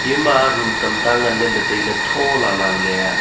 ema room tamta ngan ley le tailey thola la leya.